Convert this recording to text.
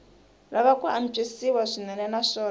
lava ku antswisiwa swinene naswona